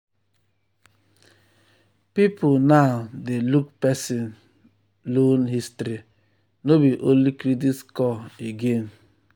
people now dey look person loan history no be only credit score again.